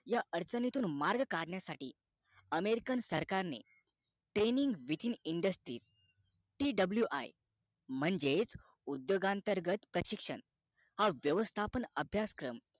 या अडचणीतून मार्ग काढण्यासाठी american सरकारने training wiki industryTWI म्हणजेच उद्योगांअंतर्ग प्रशिक्षशन हा व्यवस्थापन अभ्यासक्रम